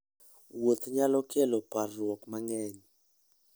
Wuoth nyalo kelo parruok mang'eny.